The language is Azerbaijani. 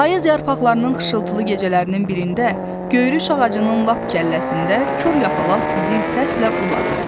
Payız yarpaqlarının xışıltılı gecələrinin birində, göyruş ağacının lap kəlləsində kor yapalaq zil səslə uladı.